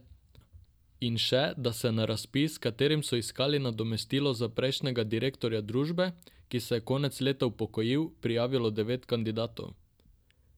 In še, da se je na razpis, s katerim so iskali nadomestilo za prejšnjega direktorja družbe, ki se je konec leta upokojil, prijavilo devet kandidatov.